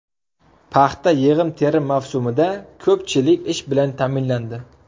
Paxta yig‘im-terim mavsumida ko‘pchilik ish bilan ta’minlandi.